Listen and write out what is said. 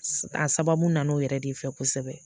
A sababu nana o yɛrɛ de fɛ kosɛbɛ